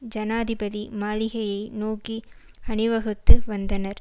ஜனாதிபதி மாளிகையை நோக்கி அணிவகுத்து வந்தனர்